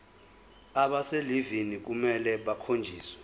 abaselivini kufanele bakhonjiswe